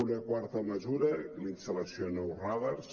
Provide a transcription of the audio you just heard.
una quarta mesura la instal·lació de nous radars